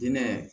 Hinɛ